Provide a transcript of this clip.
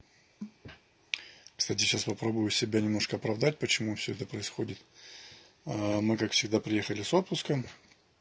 кстати сейчас попробую себя немножко оправдать почему всё это происходит а мы как всегда приехали с отпуска